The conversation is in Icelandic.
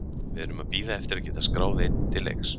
Við erum að bíða eftir að geta skráð einn til leiks.